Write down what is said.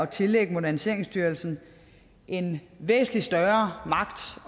tillægger moderniseringsstyrelsen en væsentlig større magt